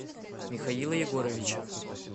михаила егоровича